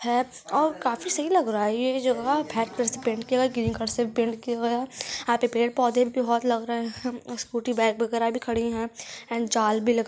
है और काफी सही लग रहा है ये जगह कलर से पैंट किया हुआ है ग्रीन कलर से पैंट किया हुआ है और यहा पे पेड़ पोंधे भी बोहोत लग रहे है। स्कूटी बाइक वागेरा भी खड़ी है एण्ड जाल भी लगा--